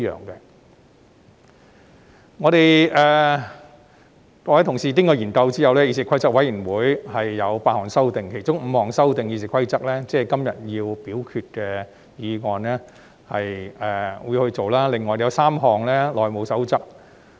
經過各位同事研究後，議事規則委員會提出8項修訂，其中5項是修訂《議事規則》，即是今天會審議及表決的議案，另外有3項涉及《內務守則》。